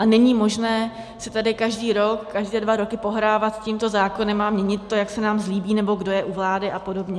A není možné si tady každý rok, každé dva roky pohrávat s tímto zákonem a měnit to, jak se nám zlíbí, nebo kdo je u vlády a podobně.